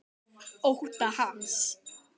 Ótta hans.